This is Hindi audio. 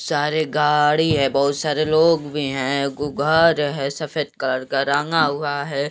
सारे गाड़ी है बहुत सारे लोग भी है। गु घर है सफेद कलर का राँगा हुआ है।